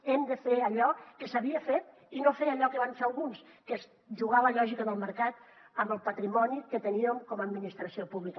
hem de fer allò que s’havia fet i no fer allò que van fer alguns que és jugar a la lògica del mercat amb el patrimoni que teníem com a administració pública